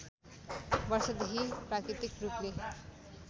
वर्षदेखि प्राकृतिक रूपले